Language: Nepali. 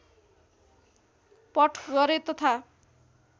पट गरे तथा